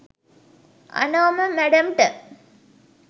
Anoma මැඩම්ට